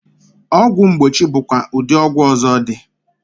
Ogwu mgbochi bụkwa ụdị ọgwụ ọzọ dị.